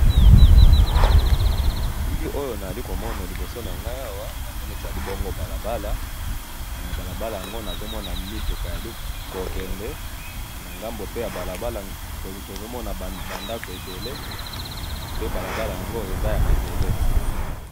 To moni awa balabala ya mabele na ituka ezali ko kende na ngambo kuna ba ndako.